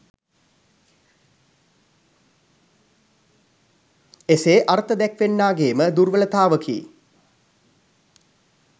එසේ අර්ථ දැක්වන්නාගේ ම දුර්වලතාවකි